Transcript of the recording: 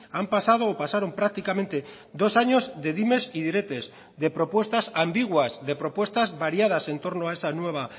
han pasado o pasaron prácticamente dos años de dimes y diretes de propuestas ambiguas de propuestas variadas en torno a esa nueva